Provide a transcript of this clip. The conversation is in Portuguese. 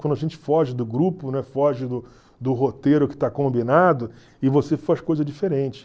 Quando a gente foge do grupo, né, foge do do roteiro que está combinado e você faz coisa diferente.